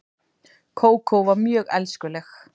Kókó var mjög elskuleg.